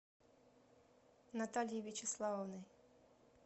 натальей вячеславовной